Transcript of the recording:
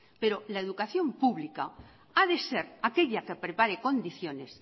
pero la educación pública ha de ser aquella que prepare condiciones